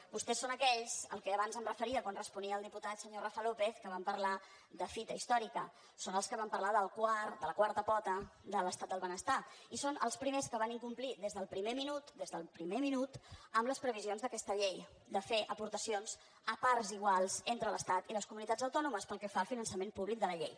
vostès són aquells als quals abans em referia quan responia al diputat senyor rafa lópez que van parlar de fita història són els que van parlar de la quarta pota de l’estat del benestar i són els primers que van incomplir des del primer minut des del primer minut amb les previsions d’aquesta llei de fer aportacions a parts iguals entre l’estat i les comunitats autònomes pel que fa al finançament públic de la llei